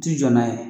Ti jɔ n'a ye